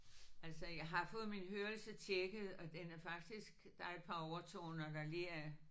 Altså jeg har fået min hørelse tjekket og den er faktisk der er et par overtoner der lige er